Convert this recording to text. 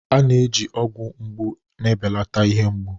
A na-eji ọgwụ mgbu na-ebelata ihe mgbu.